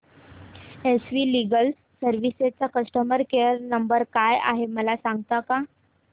S V legal services चा customer care number काय आहे मला सांगता का